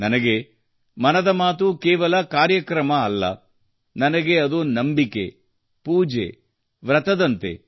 ನನಗೆ ಮನದ ಮಾತು ಕೇವಲ ಕಾರ್ಯಕ್ರಮವಲ್ಲ ನನಗೆ ಅದು ನಂಬಿಕೆ ಪೂಜೆ ವೃತದಂತೆ